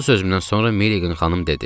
Bu sözümdən sonra Milliqan xanım dedi: